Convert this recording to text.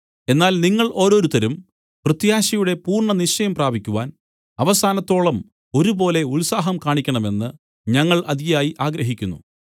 എന്നാൽ നിങ്ങൾ ഓരോരുത്തരും പ്രത്യാശയുടെ പൂർണ്ണനിശ്ചയം പ്രാപിക്കുവാൻ അവസാനത്തോളം ഒരുപോലെ ഉത്സാഹം കാണിക്കണമെന്ന് ഞങ്ങൾ അതിയായി ആഗ്രഹിക്കുന്നു